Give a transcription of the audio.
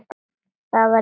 Það var í annað skipti.